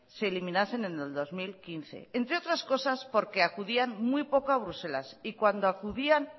se eliminasen en el dos mil quince entre otras cosas porque acudían muy poco a bruselas y cuando acudían